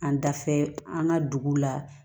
An dafɛ an ka dugu la